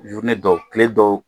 dɔw tile dɔw